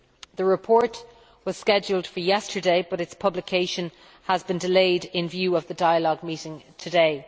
The report was scheduled for yesterday but its publication has been delayed in view of the dialogue meeting today.